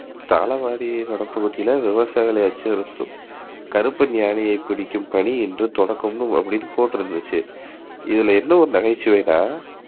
தாழவாடி வனப்பகுதி எல்லாம் விஷசாயியின் கருப்பன் யானையை பிடிக்கும் பனி இன்று துவக்கம் அப்டினு போட்ருந்துச்சு. இதுல என்ன ஒரு நகைச்சுவைனா